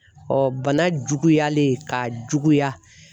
bana juguyalen k'a juguya.